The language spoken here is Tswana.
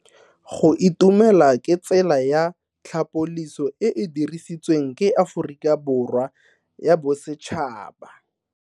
Go itumela ke tsela ya tlhapoliso e e dirisitsweng ke Aforika Borwa ya Bosetšhaba.